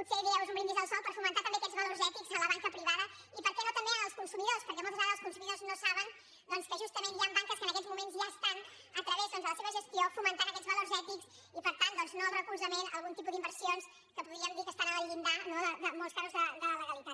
potser direu és un brindis al sol aquests valors ètics a la banca privada i per què no també en els consumidors perquè moltes vegades els consumidors no saben doncs que justament hi han banques que en aquests moments ja estan a través de la seva gestió fomentant aquests valors ètics i per tant doncs no el suport a algun tipus d’inversions que podríem dir que estan al llindar en molts casos de la legalitat